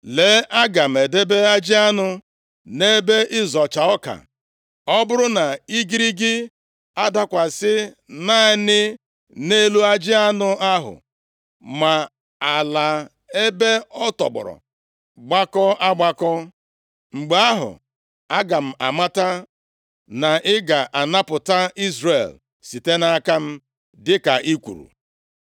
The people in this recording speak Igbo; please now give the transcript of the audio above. lee, aga m edebe ajị anụ nʼebe ịzọcha ọka. Ọ bụrụ na igirigi adakwasị naanị nʼelu ajị anụ ahụ ma ala ebe ọ tọgbọ gbakọọ agbakọ, mgbe ahụ aga m amata na ị ga-anapụta Izrel site nʼaka m, dịka ị kwuru.”